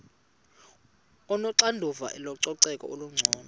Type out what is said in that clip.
onoxanduva lococeko olungcono